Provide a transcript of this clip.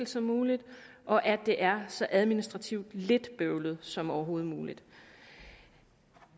som muligt og at det er så administrativt lidt bøvlet som overhovedet muligt